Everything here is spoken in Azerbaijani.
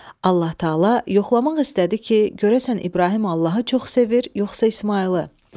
Allah Təala yoxlamaq istədi ki, görəsən İbrahim Allahı çox sevir yoxsa İsmayılı.